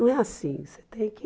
Não é assim, você tem que...